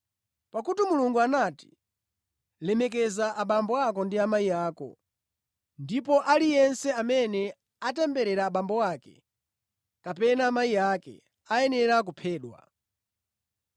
Pakuti Mulungu anati, ‘Lemekeza abambo ako ndi amayi ako’ ndipo ‘aliyense amene atemberera abambo ake kapena amayi ake ayenera kuphedwa.’